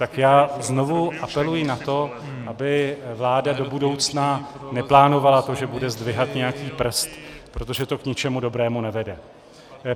Tak já znovu apeluji na to, aby vláda do budoucna neplánovala to, že bude zdvihat nějaký prst, protože to k ničemu dobrému nevede.